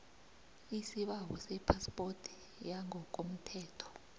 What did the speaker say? isibawo sephaspoti yangokomthetho